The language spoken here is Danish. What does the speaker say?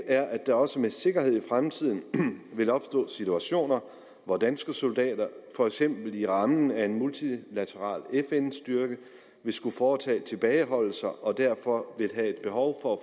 er at der også med sikkerhed i fremtiden vil opstå situationer hvor danske soldater for eksempel inden for rammen af en multilateral fn styrke vil skulle foretage tilbageholdelser og derfor vil have et behov